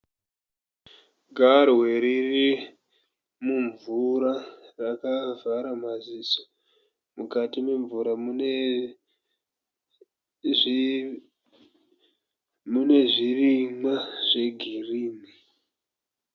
Garwe riri mumvura rakavhara maziso mukati memvura mune zvirimwa zvegirini.